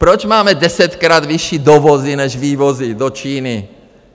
Proč máme desetkrát vyšší dovozy než vývozy do Číny?